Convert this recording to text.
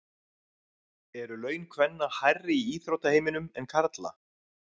Eru laun kvenna hærri í íþróttaheiminum en karla?